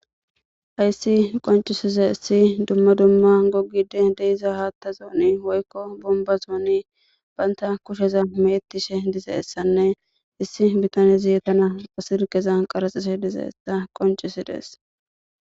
Hayssi qoncisiza issi dumma dumma gogide deiza haatta zooni woykko bomba zooni baynta kusheza mettishe dize essanne issi bitane zitana pasirgeza qaraxise dize esta qoncisi dees.